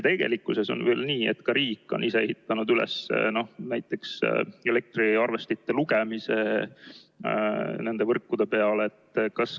Tegelikkuses on nii, et riik on ka ise ehitanud üles näiteks elektriarvestite lugemise nende võrkude peale.